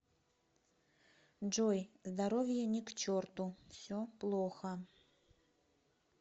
джой здоровье ни к черту все плохо